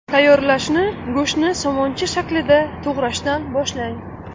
Tayyorlashni go‘shtni somoncha shaklida to‘g‘rashdan boshlang.